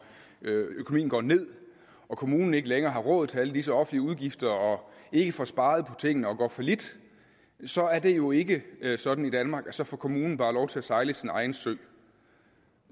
økonomien går ned og kommunen ikke længere har råd til alle disse offentlige udgifter ikke får sparet på tingene og går fallit så er det jo ikke sådan i danmark at så får kommunen bare lov til at sejle sin egen sø